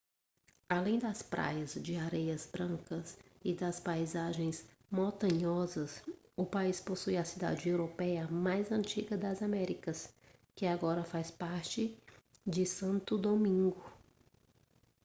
além das praias de areias brancas e das paisagens montanhosas o país possui a cidade europeia mais antiga das américas que agora faz parte de santo domingo